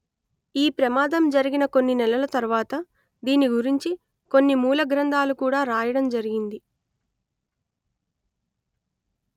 ఈ ప్రమాదం జరిగిన కొన్ని నెలల తర్వాత దీని గురించి కొన్ని మూల గ్రంథాలు కూడా రాయడం జరిగింది